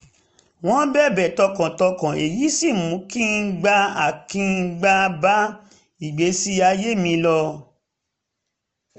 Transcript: wọ́n bẹ̀bẹ̀ tọkàntọkàn èyí sì mú kí n gbà á kí n bá ìgbésí ayé mi lọ